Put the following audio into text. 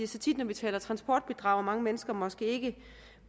så tit når vi taler transportbidrag at mange mennesker måske ikke